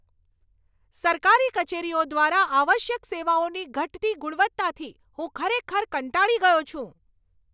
સરકારી કચેરીઓ દ્વારા આવશ્યક સેવાઓની ઘટતી ગુણવત્તાથી હું ખરેખર કંટાળી ગયો છું.